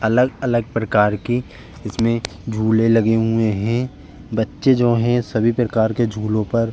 अगल-अगल प्रकार की इसमें झूले लगे हुएं है बच्चे जो है सभी प्रकार के झूलों पर --